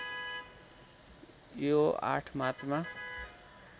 यो ८ मार्चमा